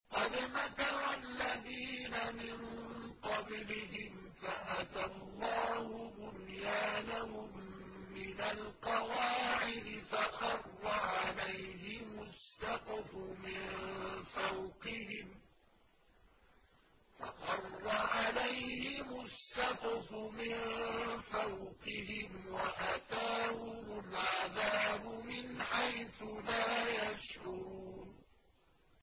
قَدْ مَكَرَ الَّذِينَ مِن قَبْلِهِمْ فَأَتَى اللَّهُ بُنْيَانَهُم مِّنَ الْقَوَاعِدِ فَخَرَّ عَلَيْهِمُ السَّقْفُ مِن فَوْقِهِمْ وَأَتَاهُمُ الْعَذَابُ مِنْ حَيْثُ لَا يَشْعُرُونَ